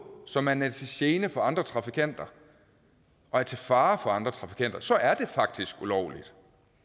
så man er til gene for andre trafikanter og er til fare for andre trafikanter så er det faktisk ulovligt